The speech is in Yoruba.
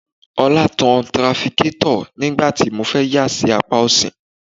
Ọlá tan tirafikátọ̀ nígbà tí mo fẹ́ yà sí apá ọ̀sì